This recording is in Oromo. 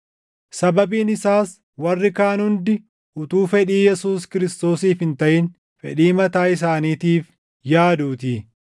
Sababiin isaas warri kaan hundi utuu fedhii Yesuus Kiristoosiif hin taʼin fedhii mataa isaaniitiif yaaduutii.